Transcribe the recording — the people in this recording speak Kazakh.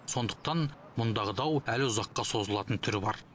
сондықтан мұндағы дау әлі ұзаққа созылатын түрі бар